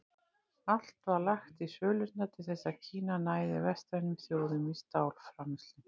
Allt var lagt í sölurnar til þess að Kína næði vestrænum þjóðum í stálframleiðslu.